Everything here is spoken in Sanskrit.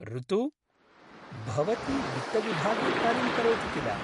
ऋतु! भवती वित्तविभागे कार्यं करोति किल?